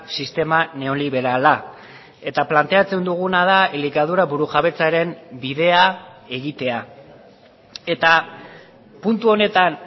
sistema neoliberala eta planteatzen duguna da elikadura burujabetzaren bidea egitea eta puntu honetan